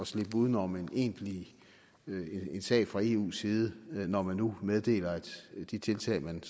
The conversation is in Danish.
slippe uden om en egentlig sag fra eus side når man nu meddeler at de tiltag man